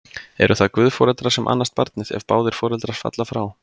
Eru það guðforeldrar sem annast barnið, ef báðir foreldrar falla frá?